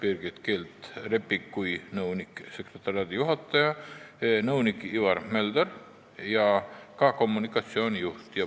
Kohal olid ka nõunik-sekretariaadijuhataja Birgit Keerd-Leppik, nõunik Ivar Mölder ja kommunikatsioonijuht.